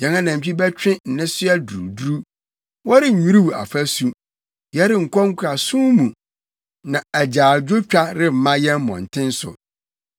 yɛn anantwi bɛtwe nnesoa duruduru. Wɔrennwiriw afasu, yɛrenkɔ nkoasom mu, na agyaadwotwa remma yɛn mmɔnten so.